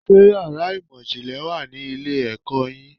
Ṣé yàrá ìmọ̀ ìjìnlẹ̀ wà ní ilé-ẹ̀kọ́ yín?